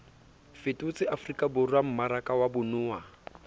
fetotse afrikaborwa mmaraka wa bonao